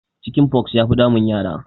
Chicken pox ya fi damun yara